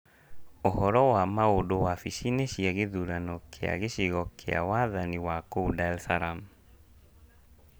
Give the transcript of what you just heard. Ũhoro wa maũndũ wabici-inĩ cia gĩthurano kĩa gĩcigo kĩa wathani wa kũu Dar es Salaam: